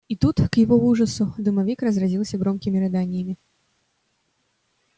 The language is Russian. и тут к его ужасу домовик разразился громкими рыданиями